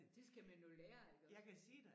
Det skal man jo lære iggås